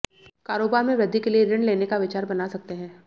कारोबार में वृद्धि के लिए ऋण लेने का विचार बना सकते हैं